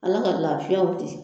Ala ka lafiyaw di.